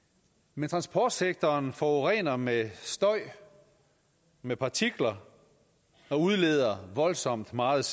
men transportsektoren forurener med støj og med partikler og udleder voldsomt meget